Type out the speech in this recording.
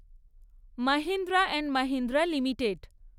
Mahindra and Mahindra limited